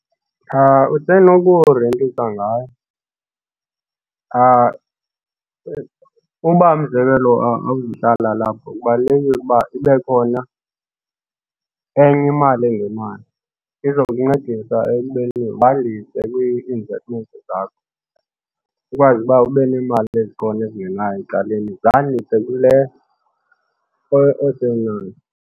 Usenokurentisa ngayo. Uba umzekelo, awungomhlali walapha kubalulekile ukuba ibe khona enye imali engenayo iza kuncedisa ekubeni bandise kwii-investment zakho ukwazi uba ube neemali ezikhona ezingenayo ecaleni zandise kule .